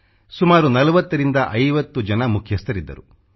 ಸುಮಾರು 40 50 ಜನ ಮುಖ್ಯಸ್ಥರಿದ್ದರು